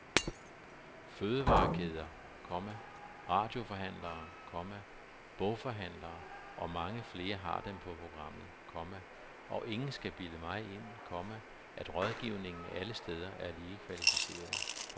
Fødevarekæder, komma radioforhandlere, komma boghandlere og mange flere har dem på programmet, komma og ingen skal bilde mig ind, komma at rådgivningen alle steder er lige kvalificeret. punktum